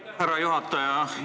Aitäh, härra juhataja!